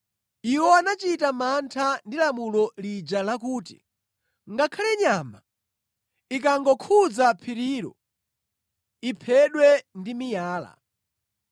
Iwo anachita mantha ndi lamulo lija lakuti, “Ngakhale nyama ikangokhudza phirilo, iphedwe ndi miyala.”